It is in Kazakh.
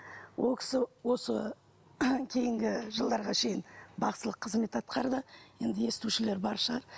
ол кісі осы кейінгі жылдарға шейін бақсылық қызмет атқарды енді естушілер бар шығар